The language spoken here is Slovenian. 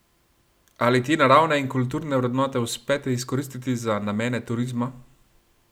Ali te naravne in kulturne vrednote uspete izkoristiti za namene turizma?